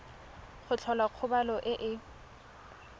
go tlhola kgobalo e e